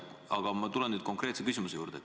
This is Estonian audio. Aga ma tulen nüüd konkreetse küsimuse juurde.